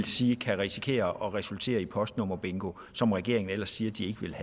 siger kan risikere at resultere i postnummerbingo som regeringen ellers siger